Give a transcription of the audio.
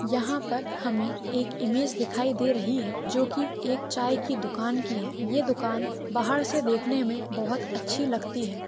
यहा पर हमे एक इमेज दिखाई दे रही है जो की एक चाय की दुकान की है ये दुकान बाहर से देखने मे बहुत अच्छी लगती है।